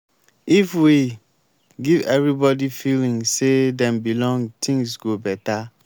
if we give everybody feeling say dem belong things go beta.